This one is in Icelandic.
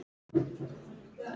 Ha, jú.